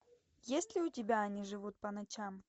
есть ли у тебя они живут по ночам